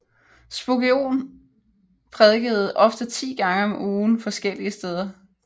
Spurgeon prædikede ofte 10 gange om ugen forskellige steder